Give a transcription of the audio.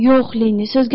Yox, Lenni,